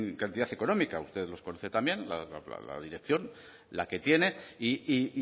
cantidad económica usted los conoce también la dirección la que tiene y